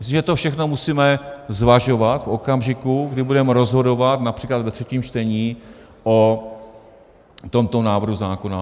Myslím, že to všechno musíme zvažovat v okamžiku, kdy budeme rozhodovat například ve třetím čtení o tomto návrhu zákona.